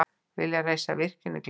Vilja reisa virkjun í Glerárdal